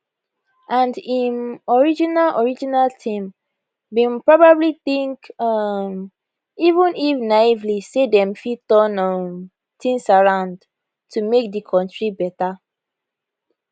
and im original original team bin probably think um even if naively say dem fit turn um tins around to make di kontri better